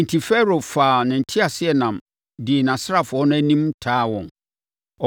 Enti, Farao faa ne teaseɛnam dii nʼasraafoɔ no anim taa wɔn.